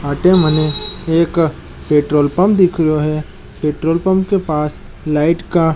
अटे मने एक पेट्रोल पंप दिखरो है पेट्रोल पंप के पास लाइट का --